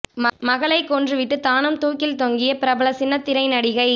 மகளைக் கொன்று விட்டு தானும் தூக்கில் தொங்கிய பிரபல சின்னத்திரை நடிகை